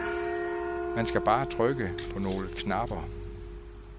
Man skal bare trykke på nogle knapper.